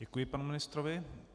Děkuji panu ministrovi.